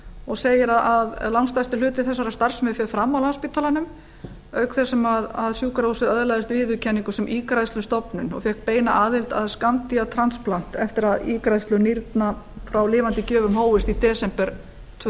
og segir að langstærsti hluti þessarar starfsemi fer fram á landspítalanum auk þess sem sjúkrahúsið öðlaðist viðurkenningu sem ígræðslustofnun og fékk beina aðild að skammtímatransplant eftir að ígræðslur nýrna frá lifandi gjöfum hófust í desember tvö